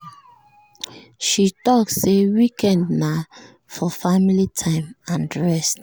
she talk say weekend na for family time and rest